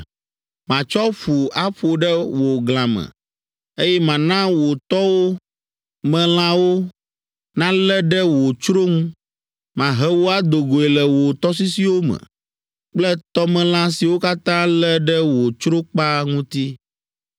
Matsɔ ƒu aƒo ɖe wò glã me, eye mana wò tɔwo me lãwo nalé ɖe wò tsro ŋu, mahe wò ado goe le wò tɔsisiwo me kple tɔmelã siwo katã lé ɖe wò tsrokpa ŋuti.